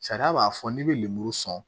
Sariya b'a fɔ n'i bɛ lemuru sɔn